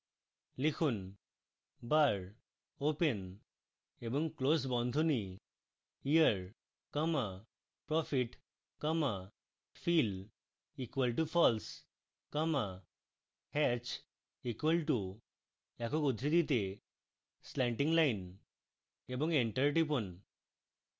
লিখুন bar open এবং close বন্ধনীতে year comma profit comma fill equal to false comma hatch equal to একক উদ্ধৃতিতে slanting line এবং enter টিপুন